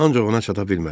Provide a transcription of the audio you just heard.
Ancaq ona çata bilmədi.